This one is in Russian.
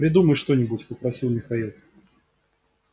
придумай что-нибудь попросил михаил